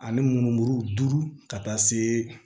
Ale mun furu duuru ka taa se